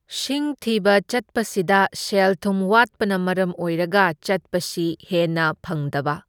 ꯁꯤꯡ ꯊꯤꯕ ꯆꯠꯄꯁꯤꯗ ꯁꯦꯜꯊꯨꯝ ꯋꯥꯠꯄꯅ ꯃꯔꯝ ꯑꯣꯏꯔꯒ ꯆꯠꯄꯁꯤ ꯍꯦꯟꯅ ꯐꯪꯗꯕ꯫